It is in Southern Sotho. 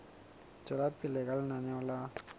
tswela pele ka lenaneo la